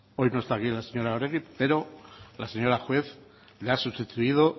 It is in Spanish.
hoy no está aquí la señora oregi pero la señora juez la ha sustituido